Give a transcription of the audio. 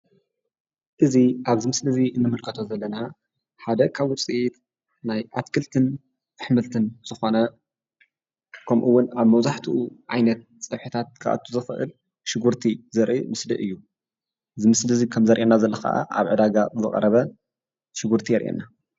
እዚ ኣብዚ ምስሊ እዚ እንምልከቶ ዘለና ሓደ ካብ ውፅኢት ናይ ኣትክልትን ኣሕምልትን ዝኾነ ከምኡ እውን ኣብ መብዛሕትኡ ዓይነት ፀብሕታት ክኣቱ ዝክእል ሽጉርቲ ዘርኢ ምስሊ እዩ፡፡ እዚ ምስሊ እዚ ከምዘርእየና ዘሎ ከዓ ኣብ ዕዳጋ ዝቀረበ ሽጉርቲ የርእየና፡፡